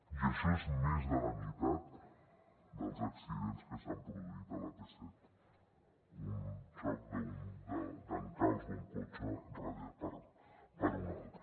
i això és més de la meitat dels accidents que s’han produït a l’ap set un xoc d’encalç d’un cotxe darrere d’un altre